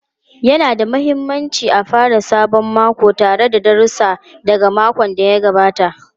Yana da mahimmanci a fara sabon mako tare da darussa daga makon da ya gabata.